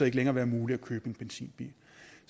ikke længere være muligt at købe en benzinbil